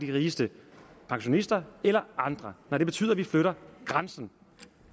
de rigeste pensionister eller andre og det betyder at vi flytter grænsen